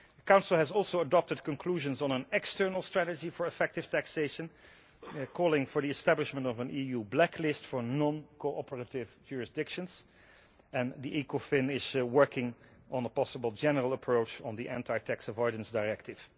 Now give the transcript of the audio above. The Council has also adopted conclusions on an external strategy for effective taxation, calling for the establishment of an EU blacklist for non cooperative jurisdictions, and Ecofin is working on a possible general approach on the anti tax avoidance directive.